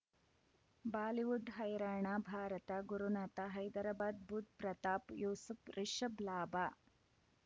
Bollywood ಹೈರಾಣ ಭಾರತ ಗುರುನಾಥ ಹೈದರಾಬಾದ್ ಬುಧ್ ಪ್ರತಾಪ್ ಯೂಸುಫ್ ರಿಷಬ್ ಲಾಭ